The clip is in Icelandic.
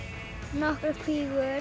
nokkrar kvígur